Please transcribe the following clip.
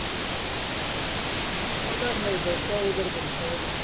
પગાર નહિ ભાઈ કોમ ઉપર પૈસા હોય.